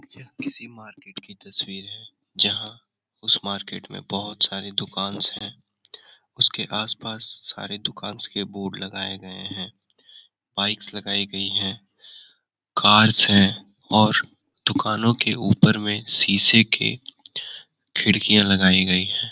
यह किसी मार्केट की तस्वीर है जहाँ उस मार्केट में बहुत सारे दुकान हैं उसके आसपास सारे दुकान के बोर्ड लगाए गए हैं बाइक्स लगाई गई हैं कार है और दुकानों के ऊपर में शीशे के खिड़कियाँ लगाई गई हैं।